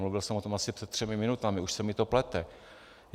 Mluvil jsem o tom asi před třemi minutami, už se mi to plete.